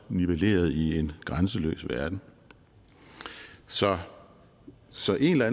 nivelleret i en grænseløs verden så så en eller